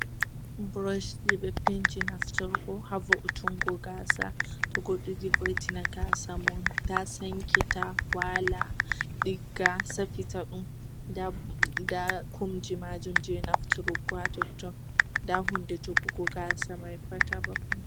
Burosh je ɓe penti nafturgo ha vo, utungo gasa to goɗɗo yidi vo, itingo gasa mun ta sankita, wala, ɗigga safita ɗum. Nda kumji majum je nafturgo ha totton. Nda hunde jogugo gasa mai pat ha babal mai.